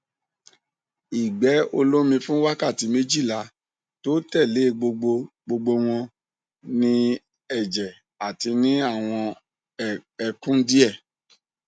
igbe olomi fun wakati mejila to tele gbogbo gbogbo won ni eje ati ni awon ekun die